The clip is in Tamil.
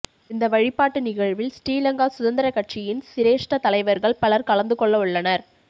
இந்த வழிபாட்டு நிகழ்வில் ஸ்ரீலங்கா சுதந்திரக் கட்சியின் சிரேஷ்ட தலைவர்கள் பலர் கலந்துகொள்ளவுள்ளனர்